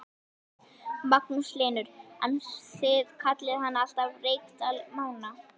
Magnús Hlynur: En þið kallið hann alltaf Reykdal Mána?